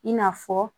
I n'a fɔ